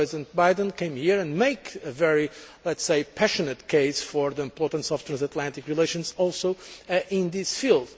Vice President Biden came here and made a very, let us say, passionate case for the importance of transatlantic relations, also in this field.